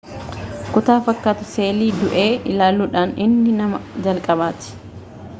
kutaa fakkaatu seelii du'e ilaaluudhaan inni nama jalqabaati